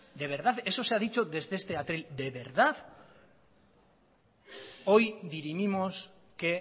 de verdad eso se ha dicho desde este atril de verdad hoy dirimimos qué